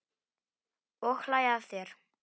Og hlæja að þér.